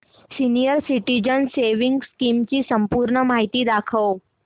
senior citizens savings scheme ची संपूर्ण माहिती दाखव